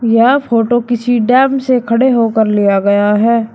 यह फोटो किसी डैम से खड़े होकर लिया गया है।